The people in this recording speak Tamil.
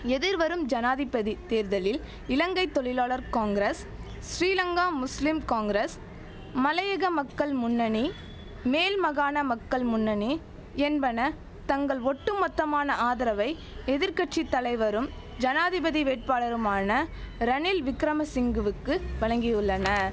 எதிர்வரும் ஜனாதிபதி தேர்தலில் இலங்கை தொழிலாளர் காங்கிரஸ் ஸ்ரீலங்கா முஸ்லிம் காங்கிரஸ் மலையக மக்கள் முன்னணி மேல் மகாண மக்கள் முன்னணி என்பன தங்கள் ஒட்டுமொத்தமான ஆதரவை எதிர் கட்சி தலைவரும் ஜனாதிபதி வேட்பாளருமான ரணில் விக்கிரமசிங்குவுக்கு வழங்கியுள்ளன